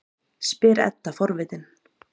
spyr Edda forvitin.